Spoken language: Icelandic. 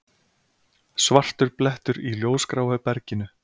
Svartur blettur í ljósgráu berginu.